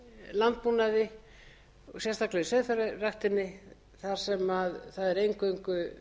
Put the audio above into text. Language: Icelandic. landbúnaði sérstaklega í sauðfjárræktinni þar sem það er eingöngu